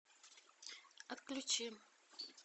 отключи